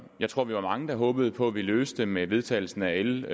jeg tror vi var mange der håbede på ville blive løst med vedtagelsen af l